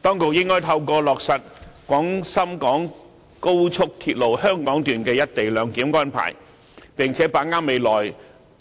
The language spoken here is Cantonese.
當局應該透過落實廣深港高速鐵路香港段的"一地兩檢"安排，並且把握未來